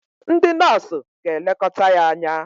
ndị nọọsụ ga-elekọta ya anya